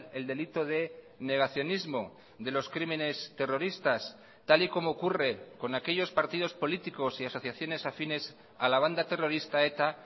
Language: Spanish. el delito de negacionismo de los crímenes terroristas tal y como ocurre con aquellos partidos políticos y asociaciones afines a la banda terrorista eta